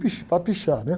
Para pichar, né?